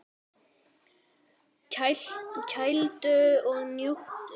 Kældu og njóttu!